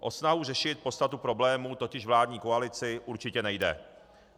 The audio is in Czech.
O snahu řešit podstatu problémů totiž vládní koalici určitě nejde.